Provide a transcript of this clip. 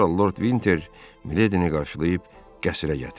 Sonra Lord Vinter Miledini qarşılayıb qəsrə gətirdi.